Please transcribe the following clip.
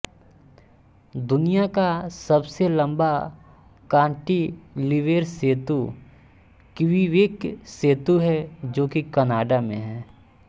दुनिया का सबसे लंबा कांटीलीवेर सेतु क्वीबेक सेतु है जो की कनाड़ा में है